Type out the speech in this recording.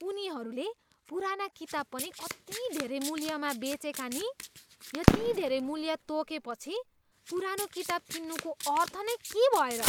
उनीहरूले पुराना किताब पनि कति धेरै मूल्यमा बेचेका नि? यति धेरै मूल्य तोकेपछि, पुरानो किताब किन्नुको अर्थ नै के भयो र?